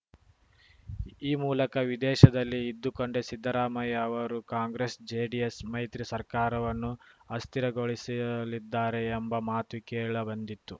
ಈ ಮೂಲಕ ವಿದೇಶದಲ್ಲಿ ಇದ್ದುಕೊಂಡೇ ಸಿದ್ದರಾಮಯ್ಯ ಅವರು ಕಾಂಗ್ರೆಸ್‌ ಜೆಡಿಎಸ್‌ ಮೈತ್ರಿ ಸರ್ಕಾರವನ್ನು ಅಸ್ಥಿರಗೊಳಿಸಲಿದ್ದಾರೆ ಎಂಬ ಮಾತು ಕೇಳ ಬಂದಿತ್ತು